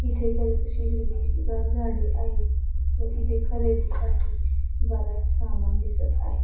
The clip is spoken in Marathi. इथे बरीच अशी हिरवीगार झाडी आहेत व इथे खरेदी साठी बराच सामान दिसत आहे.